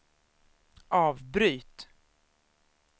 avbryt